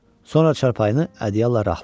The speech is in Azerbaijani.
Sonra çarpayını ədyalla rahatladı.